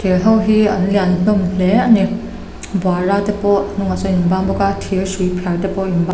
hote hi an lian hlawm hle a ni buara te pawh a hnungah sawn a inbang bawk a thir hrui phiar te pawh a in--